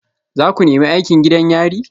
Za ku nemi aikin gidan yari?